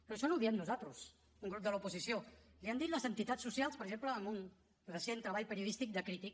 però això no ho diem nosaltres un grup de l’oposició l’hi han dit les entitats socials per exemple en un recent treball periodístic de crític